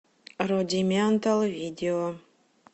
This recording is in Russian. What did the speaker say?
рудиментал видео